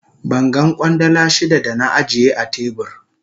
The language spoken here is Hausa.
Ban gan Kwandala shida da na ajiye a tebur.